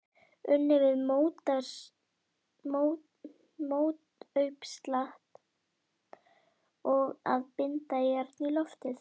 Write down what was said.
Unnið við mótauppslátt og að binda járn í loft.